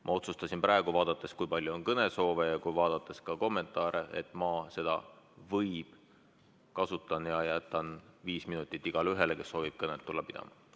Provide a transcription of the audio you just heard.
Ma otsustasin praegu, vaadates, kui palju on kõnesoove, ja vaadates ka kommentaare, et ma kasutan seda "võib" ja jätan viis minutit igaühele, kes soovib tulla kõnet pidama.